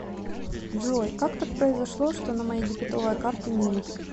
джой как так произошло что на моей дебетовой карте минус